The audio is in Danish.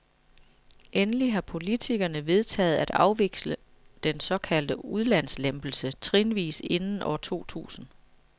Endelig har politikerne vedtaget at afvikle den såkaldte udlandslempelse trinvis inden år to tusind.